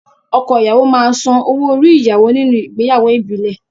Ọkọ ìyàwó máa san owo-orí ìyàwó nínú ìgbéyàwó ìbílẹ̀.